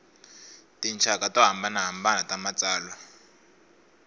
tinxaka to hambanahambana ta matsalwa